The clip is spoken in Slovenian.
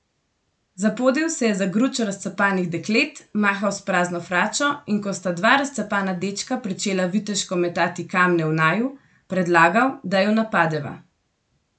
Zapodil se je za gručo razcapanih deklet, mahal s prazno fračo, in ko sta dva razcapana dečka pričela viteško metati kamne v naju, predlagal, da ju napadeva.